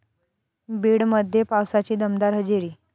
बीडमध्ये पावसाची दमदार हजेरी